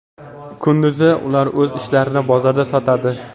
Kunduzi ular o‘z ishlarini bozorda sotadi.